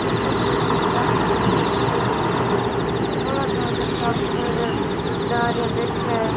यो कोई चर्च है जठे बोळा सारा टाबर और बड़ा बैठा है।